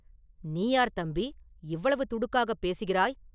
“நீ யார் தம்பி இவ்வளவு துடுக்காகப் பேசுகிறாய்?